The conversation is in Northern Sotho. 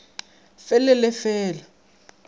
fe le le fe la